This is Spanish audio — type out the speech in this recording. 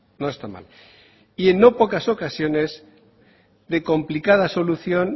no está mal y en no pocas ocasiones de complicada solución